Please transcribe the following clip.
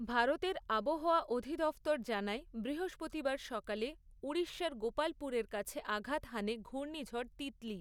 ভারতের আবহাওয়া অধিদফতর জানায় বৃহস্পতিবার সকালে ঊড়িষ্যার গোপালপুরের কাছে আঘাত হানে ঘূর্ণিঝড় তিতলি।